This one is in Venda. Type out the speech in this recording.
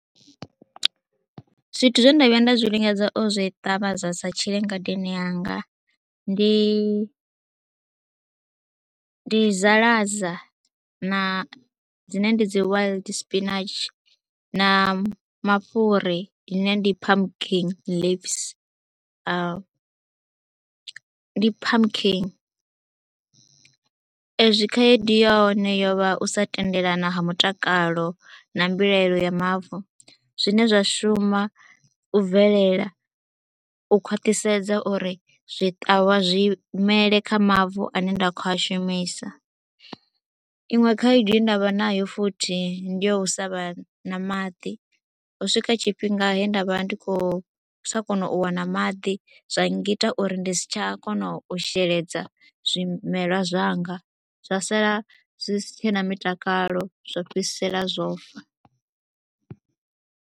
Ndi zwithu zwe nda vhuya nda zwi lingedza u zwi ṱavha zwa sa tshile ngadeni yanga ndi ndi zaḽaza na dzine ndi dzi wild spinach na mafhuri ḽine ndi pumkin leaves, ndi pumkin ezwi khaedu ya hone yo vha u sa tendelana ha mutakalo na mbilaelo ya mavu, zwine zwa shuma bvelela u khwaṱhisedza uri zwiṱawa zwi mele kha mavu ane nda khou a shumisa. Iṅwe khaedu ye nda vha nayo futhi ndi yo u sa vha na maḓi, ho swika tshifhinga he nda vha ndi sa khou kona u wana maḓi zwa ngita uri ndi si tsha kona u sheledza zwimelwa zwanga zwa sala zwi si tshena mutakalo zwo fhedzisela zwo fa.